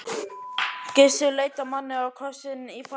Gissur leit á manninn og krossinn í fangi hans.